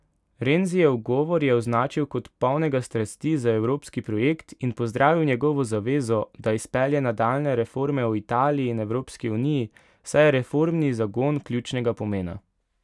Renzijev govor je označil kot polnega strasti za evropski projekt in pozdravil njegovo zavezo, da izpelje nadaljnje reforme v Italiji in Evropski uniji, saj je reformni zagon ključnega pomena.